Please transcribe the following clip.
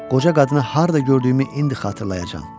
Qoca qadını harda gördüyümü indi xatırlayacam.